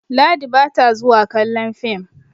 Ladi ba ta zuwa kallon fim